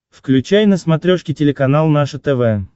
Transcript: включай на смотрешке телеканал наше тв